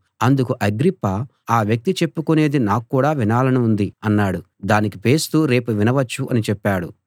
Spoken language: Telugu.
అందుకు అగ్రిప్ప ఆ వ్యక్తి చెప్పుకొనేది నాక్కూడా వినాలనుంది అన్నాడు దానికి ఫేస్తు రేపు వినవచ్చు అని చెప్పాడు